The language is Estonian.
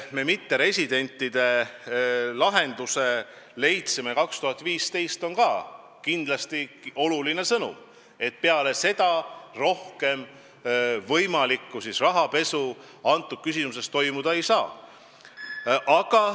See, et me aastal 2015 leidsime mitteresidentide osas lahenduse, on ka kindlasti oluline sõnum, et peale seda enam sellist rahapesu toimuda ei saa.